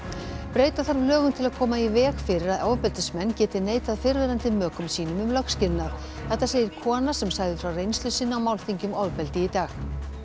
breyta þarf lögum til að koma í veg fyrir að ofbeldismenn geti neitað fyrrverandi mökum sínum um lögskilnað þetta segir kona sem sagði frá reynslu sinni á málþingi um ofbeldi í dag